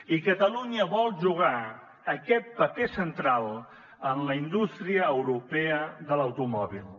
i catalunya vol jugar aquest paper central en la indústria europea de l’automòbil